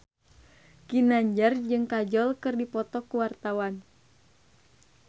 Ginanjar jeung Kajol keur dipoto ku wartawan